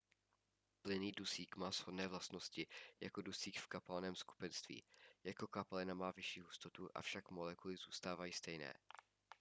plynný dusík má shodné vlastnosti jako dusík v kapalném skupenství jako kapalina má vyšší hustotu avšak molekuly zůstávají stejné